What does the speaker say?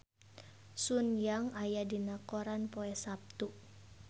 Sun Yang aya dina koran poe Saptu